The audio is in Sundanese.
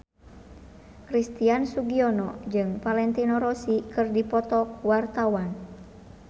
Christian Sugiono jeung Valentino Rossi keur dipoto ku wartawan